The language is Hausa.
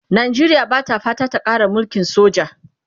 Najeriya Bata fatan ta Kara mulkin soja